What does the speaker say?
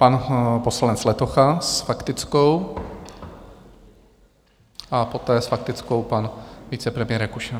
Pan poslanec Letocha s faktickou a poté s faktickou pan vicepremiér Rakušan.